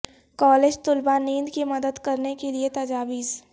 college طلباء نیند کی مدد کرنے کے لئے تجاویز